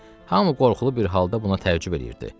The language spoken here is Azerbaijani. Hamı qorxulu bir halda buna təəccüb eləyirdi.